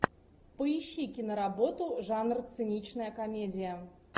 поищи киноработу жанр циничная комедия